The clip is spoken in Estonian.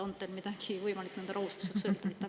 On teil midagi võimalik nende rahustuseks öelda?